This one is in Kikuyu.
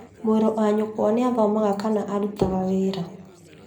Mũrũ wa nyũkwa nĩathomaga kana arutaga wĩra